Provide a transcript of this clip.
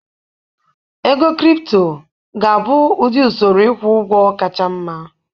Ego kripto ga-abụ ụdị usoro ịkwụ ụgwọ kacha mma.